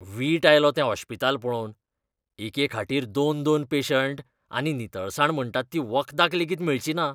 वीट आयलो तें ओश्पिताल पळोवन. एके खाटीर दोन, दोन पेशंट, आनी नितळसाण म्हणटात ती वखदाक लेगीत मेळचिना.